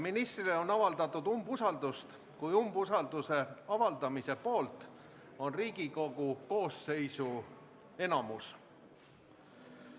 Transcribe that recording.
Ministrile on avaldatud umbusaldust, kui umbusalduse avaldamise poolt on Riigikogu koosseisu enamus.